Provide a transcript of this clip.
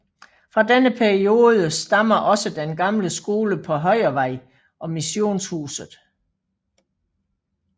Fra denne periode stammer også den gamle skole på Højervej og missionshuset